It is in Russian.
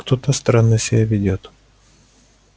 кто-то странно себя ведёт